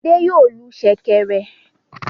Adé yòó lu ṣẹ̀kẹ̀rẹ̀.